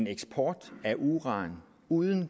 eksport af uran uden